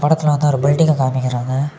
இதுல வந்து ஒரு பில்டிங்க காமிக்கிறாங்க.